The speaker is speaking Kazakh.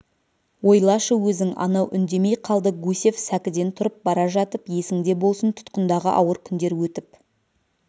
ойлашы өзің анау үндемей қалды гусев сәкіден тұрып бара жатып есіңде болсын тұтқындағы ауыр күндер өтіп